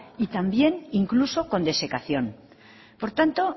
y también incluso con desecación por tanto